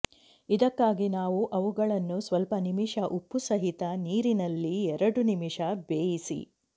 ಇದಕ್ಕಾಗಿ ನಾವು ಅವುಗಳನ್ನು ಸ್ವಲ್ಪ ನಿಮಿಷ ಉಪ್ಪುಸಹಿತ ನೀರಿನಲ್ಲಿ ಎರಡು ನಿಮಿಷ ಬೇಯಿಸಿ